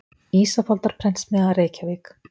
Ísafoldarprentsmiðja, Reykjavík.